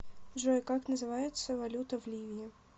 джой как называется валюта в ливии